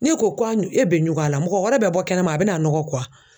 N'e ko ko a e bɛ ɲugu a la mɔgɔ wɛrɛ bɛ bɔ kɛnɛma a bɛn'a nɔgɔ ko wa?